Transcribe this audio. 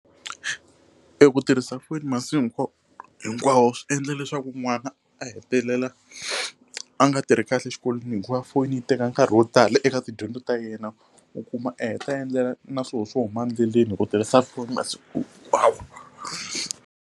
Eku tirhisa foni masiku hinkwawo swi endla leswaku n'wana a hetelela a nga tirhi kahle exikolweni hikuva foni yi teka nkarhi wo tala eka tidyondzo ta yena u kuma a heta endlela na swolo swo huma endleleni hi ku tirhisa foni masiku hinkwawo.